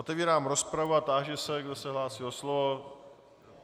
Otevírám rozpravu a táži se, kdo se hlásí o slovo.